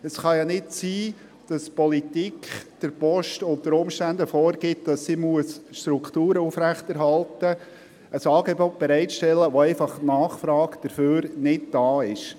Es kann ja nicht sein, dass die Politik der Post unter Umständen vorgibt, dass sie Strukturen aufrechterhalten muss, ein Angebot bereitstellen muss, nach dem einfach die Nachfrage nicht da ist.